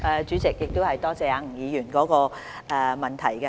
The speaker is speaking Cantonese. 主席，多謝吳議員的補充質詢。